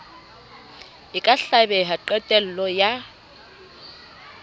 e ka hlabeha qetello ya